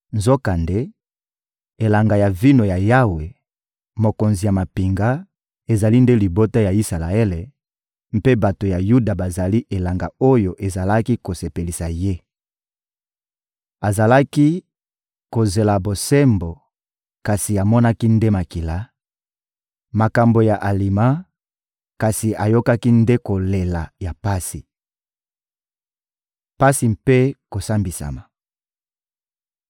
Nzokande, elanga ya vino ya Yawe, Mokonzi ya mampinga, ezali nde libota ya Isalaele, mpe bato ya Yuda bazali elanga oyo ezalaki kosepelisa Ye. Azalaki kozela bosembo, kasi amonaki nde makila; makambo ya alima, kasi ayokaki nde kolela ya pasi. Pasi mpe kosambisama